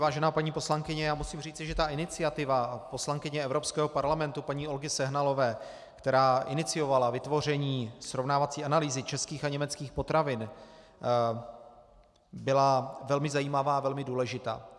Vážená paní poslankyně, já musím říci, že ta iniciativa poslankyně Evropského parlamentu paní Olgy Sehnalové, která iniciovala vytvoření srovnávací analýzy českých a německých potravin, byla velmi zajímavá a velmi důležitá.